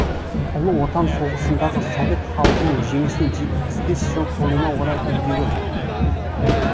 ұлы отан соғысындағы совет халқының жеңісіне жетпіс жыл толуына орай үндеуі